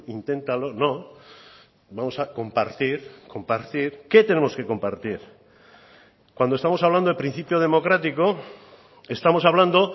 inténtalo no vamos a compartir compartir qué tenemos que compartir cuando estamos hablando de principio democrático estamos hablando